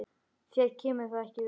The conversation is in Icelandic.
Þér kemur það ekki við.